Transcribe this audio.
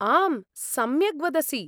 आम्, सम्यक् वदसि।